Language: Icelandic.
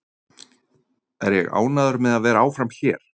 Er ég ánægður með að vera áfram hér?